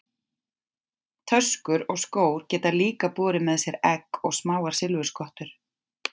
Töskur og skór geta líka borið með sér egg og smáar silfurskottur.